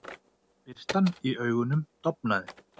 Birtan í augunum dofnaði.